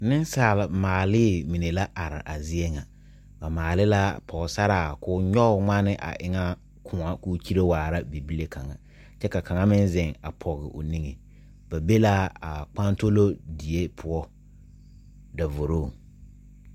Ninsaal maalee mene la arẽ a zeɛ nga ba maali la pɔgsaraa koo nyuge mgane a e nga koun la kuu kyiree waara bibile kanga kye ka kanga meng zeng a pɔg ɔ ninge ba be la a kpantolo deɛ pou davorong.